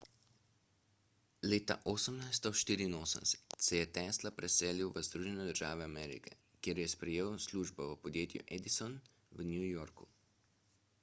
leta 1884 se je tesla preselil v združene države amerike kjer je sprejel službo v podjetju edison v new yorku